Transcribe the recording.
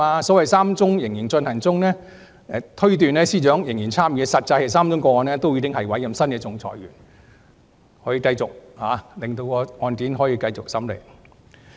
由於3宗個案仍然進行，因此有人推斷司長仍然參與其中，實際是3宗個案均已再委任新的仲裁員，繼續餘下的審理程序。